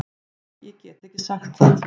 Nei ég get ekki sagt það.